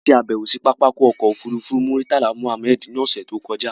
A ṣe àbẹ̀wò sí pápákọ̀ ọkọ̀ òfurufú Murtala Mohammed ní ọ̀ṣẹ̀ tó kọjá